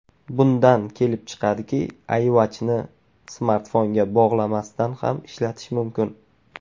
Bundan kelib chiqadiki, iWatch’ni smartfonga bog‘lamasdan ham ishlatish mumkin.